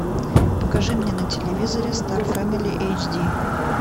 покажи мне на телевизоре стар фэмили эйч ди